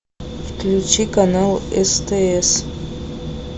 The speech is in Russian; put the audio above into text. включи канал стс